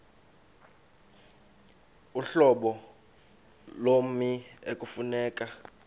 uhlobo lommi ekufuneka